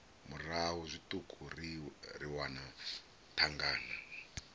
murahu zwiṱuku ri wana thangana